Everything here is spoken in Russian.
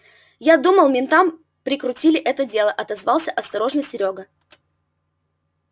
я думал ментам прикрутили это дело отозвался осторожно серёга